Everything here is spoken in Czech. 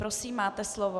Prosím, máte slovo.